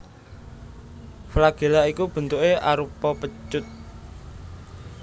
Flagela iku bentuké arupa pecut